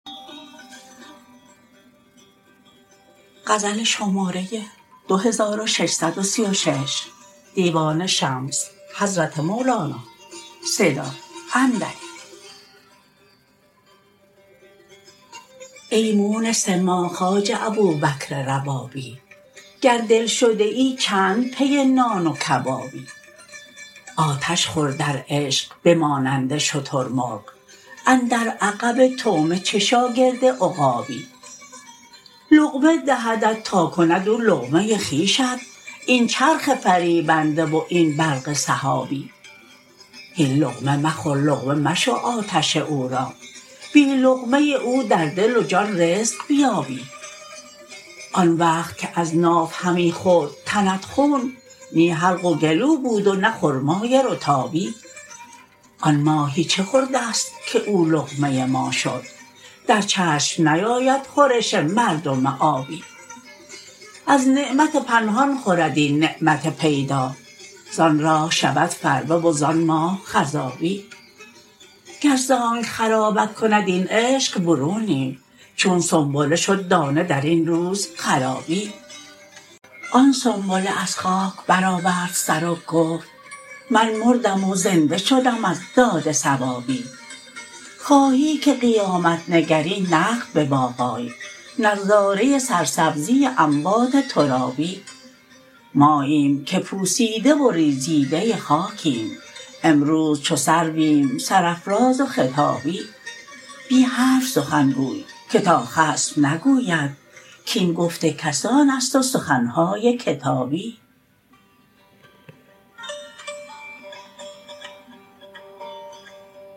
ای مونس ما خواجه ابوبکر ربابی گر دلشده ای چند پی نان و کبابی آتش خور در عشق به مانند شترمرغ اندر عقب طعمه چه شاگرد عقابی لقمه دهدت تا کند او لقمه خویشت این چرخ فریبنده و این برق سحابی هین لقمه مخور لقمه مشو آتش او را بی لقمه او در دل و جان رزق بیابی آن وقت که از ناف همی خورد تنت خون نی حلق و گلو بود و نه خرمای رطابی آن ماهی چه خورده ست که او لقمه ما شد در چشم نیاید خورش مردم آبی از نعمت پنهان خورد این نعمت پیدا زان راه شود فربه و زان ماه خضابی گر ز آنک خرابت کند این عشق برونی چون سنبله شد دانه در این روز خرابی آن سنبله از خاک برآورد سر و گفت من مردم و زنده شدم از داد ثوابی خواهی که قیامت نگری نقد به باغ آی نظاره سرسبزی اموات ترابی ماییم که پوسیده و ریزیده خاکیم امروز چو سرویم سرافراز و خطابی بی حرف سخن گوی که تا خصم نگوید کاین گفت کسان است و سخن های کتابی